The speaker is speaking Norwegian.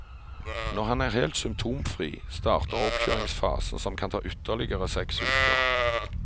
Når han er helt symptomfri, starter oppkjøringsfasen som kan ta ytterligere seks uker.